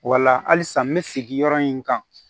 Wala halisa n bɛ sigi yɔrɔ in kan